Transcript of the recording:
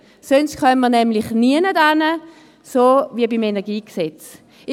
Sonst kommen wir nirgends hin, wie wir beim Energiegesetz gesehen haben.